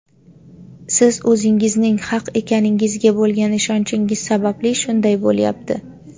Siz o‘zingizning haq ekaningizga bo‘lgan ishonchingiz sababli shunday bo‘lyapti.